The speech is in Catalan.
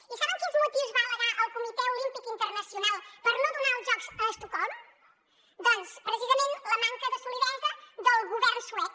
i saben quins motius va al·legar el comitè olímpic internacional per no donar els jocs a estocolm doncs precisament la manca de solidesa del govern suec